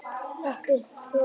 Hrepphólum